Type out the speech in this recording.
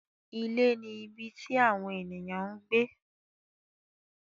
Ilé ni ibi tí àwon ènìyàn ń gbé